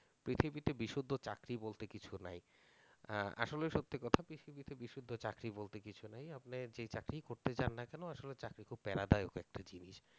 পৃথিবীতে বিশুদ্ধ চাকরি বলতে কিছু নেই আসলে সত্যি কথা পৃথিবীতে বিশুদ্ধ চাকরি বলতে কিছু নেই আপনি যেই চাকরি করতে যান না কেনো আসলে চাকরি একটা জিনিস